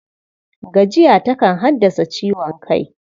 Gajiya takan haddasa ciwon kai.